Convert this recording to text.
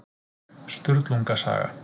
Sturlunga saga.